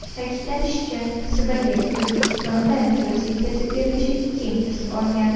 Ta’kidlanishicha, Sibirga O‘zbekistondan gilos yetkazib berilishi keng tus olgan.